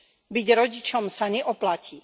Byť rodičom sa neoplatí.